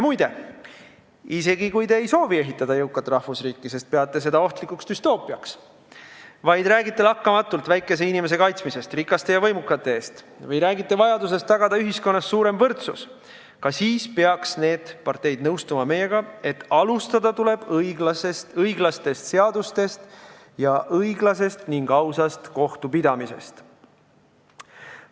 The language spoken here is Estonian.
Muide, isegi kui te ei soovi ehitada jõukat rahvusriiki, sest peate seda ohtlikuks düstoopiaks, vaid räägite lakkamatult väikese inimese kaitsmisest rikaste ja võimukate eest või räägite vajadusest tagada ühiskonnas suurem võrdsus, ka siis peaksite teie ja peaksid need parteid nõustuma meiega, et alustada tuleb õiglastest seadustest ning õiglasest ja ausast kohtupidamisest.